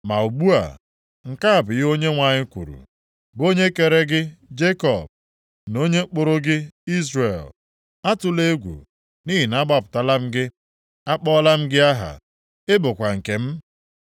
Ma ugbu a, nke a bụ ihe Onyenwe anyị kwuru, bụ onye kere gị, Jekọb, na onye kpụrụ gị Izrel, “Atụla egwu, nʼihi na agbapụtala m gị. Akpọọla m gị aha, ị bụkwa nke m.